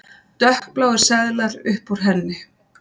Dökkbláir seðlar upp úr henni.